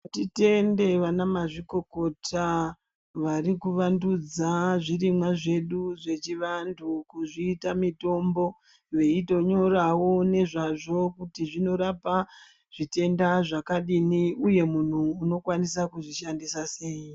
Ngatitende vana mazvikokota vari kuvandudza zvirimwa zvedu zvechivanhu kuzviita mutombo veitonyorawo ngezvzvo kuti zvinorapa zvitenda zvakadini uye unokwanisa kuzvishandisa sei.